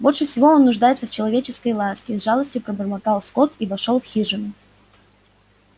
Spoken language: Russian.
больше всего он нуждается в человеческой ласке с жалостью пробормотал скотт и вошёл в хижину